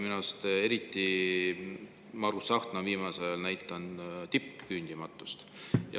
Minu arust on eriti Margus Tsahkna viimasel ajal näidanud tippküündimatust.